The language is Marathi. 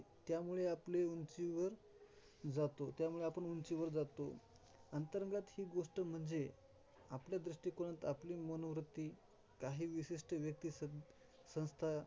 त्यामुळे आपली उंचीवर जातो, त्यामुळे आपण उंचीवर जातो. अंतर्गात ही गोष्ट म्हणजे, आपल्या दृष्टीकोनात आपली मनोवृत्ती काही विशिष्ट व्यक्ती, संस्था.